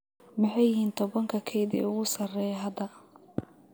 Maxay yihiin tobanka kayd ee ugu sarreeya hadda?